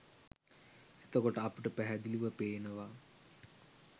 එතකොට අපට පැහැදිලිව පේනවා